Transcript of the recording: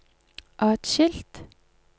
atskilt